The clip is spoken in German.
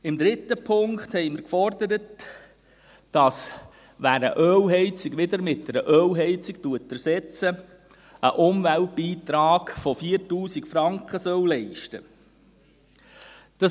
Im dritten Punkt haben wir gefordert, dass wer eine Ölheizung wieder durch eine Ölheizung ersetzt, einen Umweltbeitrag von 4000 Franken leisten soll.